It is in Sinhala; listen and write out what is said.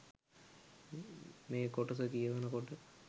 ”මේ කොටස කියවනකොට